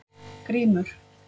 Grímur